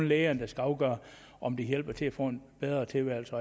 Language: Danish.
lægerne der skal afgøre om de hjælper med til at få en bedre tilværelse